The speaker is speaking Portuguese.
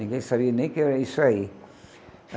Ninguém sabia nem que era isso aí.